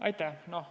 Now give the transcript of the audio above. Aitäh!